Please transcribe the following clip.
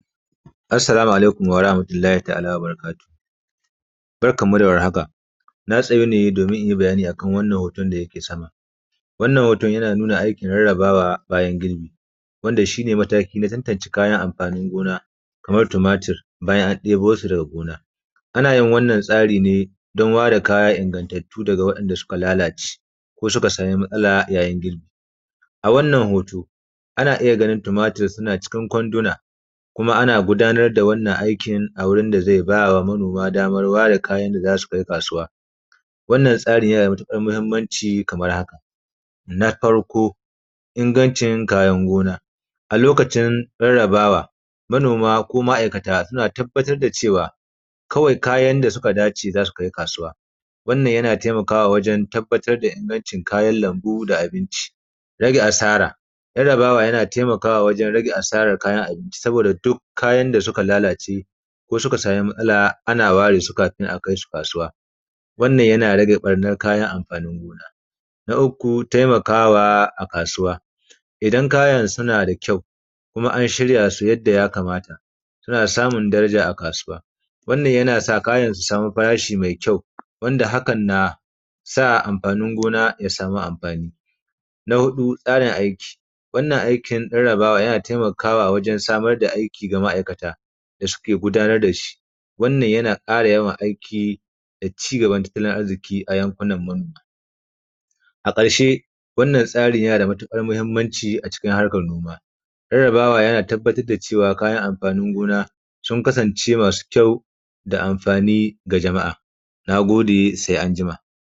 Assalamu alaikum warahmatullahi ta’ala wa barakatuhu, Barkanmu da warhaka, Na tsayu ne domin in yi bayani a kan hoton da yake sama, wannan hoton yana nuna aikin yadda ake rarrabawa bayan girbi, wanda shi ne mataki na farko wajen tantance kayan amfanin gona, kamar tumatir bayan an ɗebo shi daga gona, Ana yin wannan tsari ne don ware kaya ingantattu daga waɗanda suka lalace ko ya samu matsala yayin girbi, A wannan hoto ana iya ganin tumatir suna cikin kwanduna, Kuma ana gudanar da wannan aikin a wurin da zai ba wa manoma damar da zasu ware waɗanda zasu kai kasuwa, Wannan tsari yana da matuƙar muhimmanci kamar haka, Na farko ingancin kayan gona a lokacin rarrabawa manoma ko ma’aikata suna tabbatar da cewa kawai kayan da suka dace zasu kai kasuwa, Wannan yana taimakawa wajen tabbatar da ingancin kayan lambu da na abinci, Rage asara, rarrabawa yana taimakawa wajen rage asaran kayan abinci saboda yana taimakawa waɗanda suka lalace ko suka samu matsala ana ware su kafin a kai su kasuwa, Wannan yana rage ɓarnar kayan amfanin gona, Na uku taimakawa a kasuwa idan kayan suna da kyau kuma an shirya su yadda ya kamata, suna samun daraja a kasuwa, Wannan yana sa kayan su samu farashi mai kyau, Wanda hakan na sa kayan gona ya samu amfani, Na huɗu tsarin aiki, rarrabawa na taimakawa wajen samar da aiki ga ma’aikata da suke gudanar da shi, Wannan yana ƙara yawan aiki da cigaban tattalin arziki a yankunan manoma, A ƙarshe wannan tsari yana da matuƙar muhimmanci a harkar noma, rarrabawa yana tabbatar da cewa kayan amfanin gona sun kasance masu kyau da amfani ga jama’a na gode.